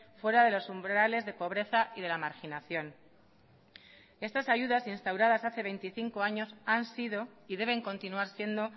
fuera de los umbrales de pobreza y de la marginación estas ayudas instauradas hace veinticinco años han sido y deben continuar siendo